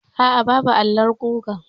Aa, babu alon gugar.